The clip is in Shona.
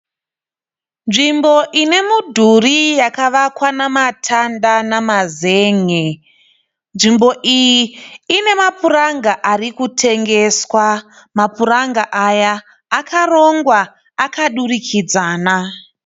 Nzvimbo ine midhuri yakavakwa nematanda nemazange, nzvimbo iyi ine mapuranga ari kutengeswa. Mapuranga aya akarongwa akadurikidzana.